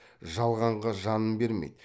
жалғанға жанын бермейді